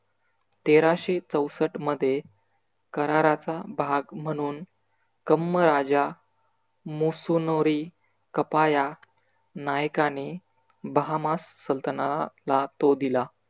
तेराशे चौसट मध्ये कराराचा भाग म्हणून कम्म राजा मुसोनोरी कपाया नायकाने बहामास सलतनाहला तो दिला.